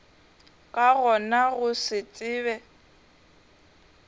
ka gona go se tsebe